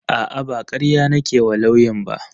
A'a ba karya nake wa lauyan ba